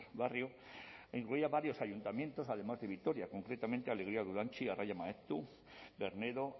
barrio incluía varios ayuntamientos además de vitoria concretamente alegría dulantzi arraia maeztu bernedo